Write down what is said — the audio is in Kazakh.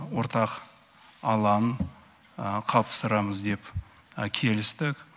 ортақ алаң қалыптастырамыз деп келістік